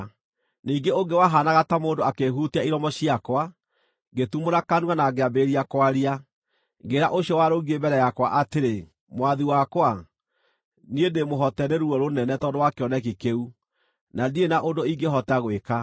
Ningĩ ũngĩ wahaanaga ta mũndũ akĩhutia iromo ciakwa, ngĩtumũra kanua na ngĩambĩrĩria kwaria. Ngĩĩra ũcio warũngiĩ mbere yakwa atĩrĩ, “Mwathi wakwa, niĩ ndĩmũhoote nĩ ruo rũnene tondũ wa kĩoneki kĩu, na ndirĩ na ũndũ ingĩhota gwĩka.